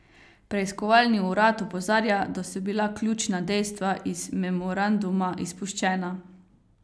Preiskovalni urad opozarja, da so bila ključna dejstva iz memoranduma izpuščena.